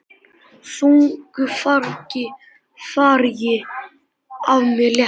Þungu fargi af mér létt.